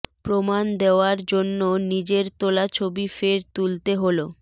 প্রমাণ দেওয়ার জন্য নিজের তোলা ছবি ফের তুলতে হল